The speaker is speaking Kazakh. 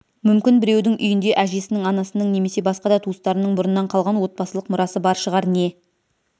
мүмкін біреудің үйінде әжесінің анасының немесе басқа да туыстарының бұрыннан қалған отбасылық мұрасы бар шығар не